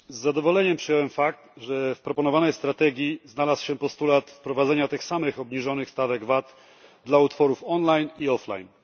Z zadowoleniem przyjąłem fakt, że w proponowanej strategii znalazł się postulat wprowadzenia tych samych obniżonych stawek VAT dla utworów online i offline.